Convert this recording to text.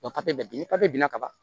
bɛ ni binna ka ban